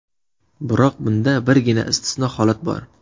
Biroq bunda birgina istisno holat bor.